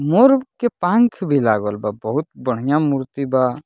मोर के पंख भी लागल बा बहुत बढ़िया मूर्ति बा।